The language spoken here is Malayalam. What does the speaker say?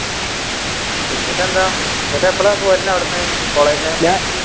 എന്നിട്ടെന്താ അന്നിട്ട് എപ്പഴാ പൊരുന്നേ അവിടെന്ന് കോളേജിൽ നിന്ന്